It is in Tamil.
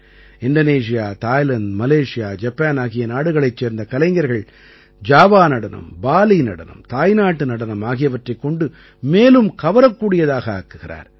இந்தோனேசியா தாய்லாந்து மலேஷியா ஜப்பான் ஆகிய நாடுகளைச் சேர்ந்த கலைஞர்கள் ஜாவா நடனம் பாலீ நடனம் தாய்நாட்டு நடனம் ஆகியவற்றைக் கொண்டு மேலும் கவரக்கூடியதாக ஆக்குகிறார்